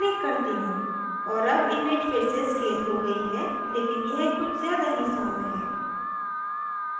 और अब image फिर से स्केल हो गयी है लेकिन यह कुछ ज़्यादा ही सौम्य है